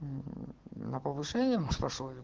на повышение мы спрашивали